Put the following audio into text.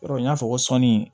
Yɔrɔ n y'a fɔ sɔnni